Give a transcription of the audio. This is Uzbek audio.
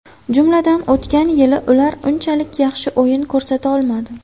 Jumladan, o‘tgan yili ular unchalik yaxshi o‘yin ko‘rsata olmadi.